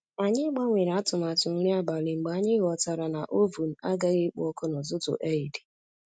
Anyị gbanwere atụmatụ nri abalị mgbe anyị ghọtara na oven agaghị ekpo ọkụ n'ụtụtụ Eid